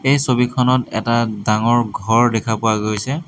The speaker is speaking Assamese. এই ছবিখনত এটা ডাঙৰ ঘৰ দেখা পোৱা গৈছে।